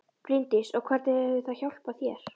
Bryndís: Og hvernig hefur það hjálpað þér?